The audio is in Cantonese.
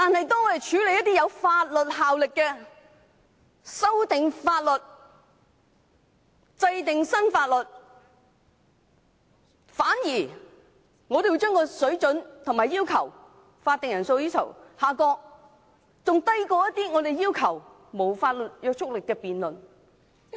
但當我們處理有法律效力的事項，包括修訂法例、制定新法例時，反而將法定人數的要求下降，至低於沒有法律約束力的議案辯論。